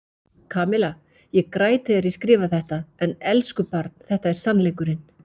Kamilla, ég græt þegar ég skrifa þetta en elsku barn þetta er sannleikurinn.